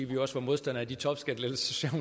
vi også var modstandere af de topskattelettelser